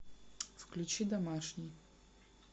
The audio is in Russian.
включи домашний